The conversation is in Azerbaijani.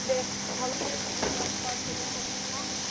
və fərq eləyən nə olub?